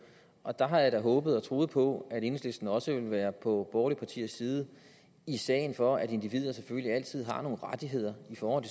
og der har jeg da håbet og troet på at enhedslisten også ville være på borgerlige partiers side i sagen for at individer selvfølgelig altid har nogle rettigheder i forhold